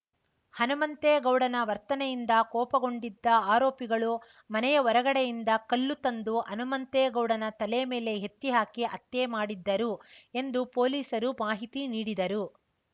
ಹನುಮಂತೇಗೌಡನ ವರ್ತನೆಯಿಂದ ಕೋಪಗೊಂಡಿದ್ದ ಆರೋಪಿಗಳು ಮನೆಯ ಹೊರಗಡೆಯಿಂದ ಕಲ್ಲು ತಂದು ಹನುಮಂತೇಗೌಡನ ತಲೆ ಮೇಲೆ ಎತ್ತಿ ಹಾಕಿ ಹತ್ಯೆ ಮಾಡಿದ್ದರು ಎಂದು ಪೊಲೀಸರು ಮಾಹಿತಿ ನೀಡಿದರು